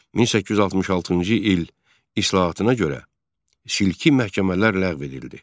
1866-cı il islahatına görə silkli məhkəmələr ləğv edildi.